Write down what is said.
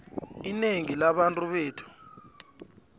inengi labantu bethu